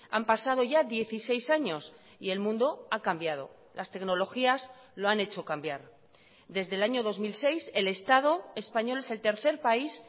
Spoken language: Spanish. han pasado ya dieciséis años y el mundo ha cambiado las tecnologías lo han hecho cambiar desde el año dos mil seis el estado español es el tercer país